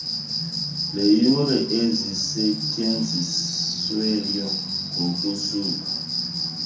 leeyure ezisetyenziweyo ngosuku